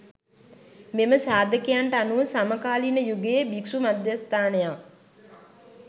මෙම සාධකයනට අනුව සමකාලීන යුගයේ භික්ෂු මධස්ථානයක්